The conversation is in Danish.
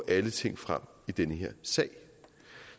alle ting frem i den her sag